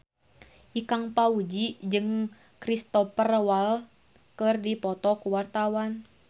Ikang Fawzi jeung Cristhoper Waltz keur dipoto ku wartawan